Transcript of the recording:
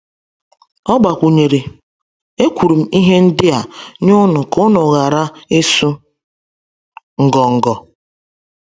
O gbakwunyere: “Ekwuru m ihe ndị a nye unu ka unu ghara ịsụ ngọngọ.”